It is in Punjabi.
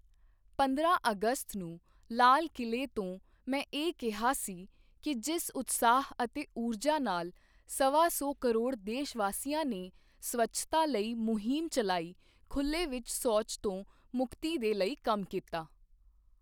ਪੰਦਰਾਂ ਅਗਸਤ ਨੂੰ ਲਾਲ ਕਿਲੇ ਤੋਂ ਮੈਂ ਇਹ ਕਿਹਾ ਸੀ ਕਿ ਜਿਸ ਉਤਸ਼ਾਹ ਅਤੇ ਊਰਜਾ ਨਾਲ ਸਵਾ ਸੌ ਕਰੋੜ ਦੇਸ਼ਵਾਸੀਆਂ ਨੇ ਸਵੱਛਤਾ ਲਈ ਮੁਹਿੰਮ ਚਲਾਈ, ਖੁੱਲ੍ਹੇ ਵਿੱਚ ਸ਼ੌਚ ਤੋਂ ਮੁਕਤੀ ਦੇ ਲਈ ਕੰਮ ਕੀਤਾ।